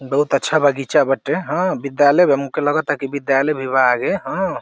बहुत अच्छा बागीचा बाटे हाँ विद्यालय बा हमके लगता विद्यालय भी बा आगे हाँ।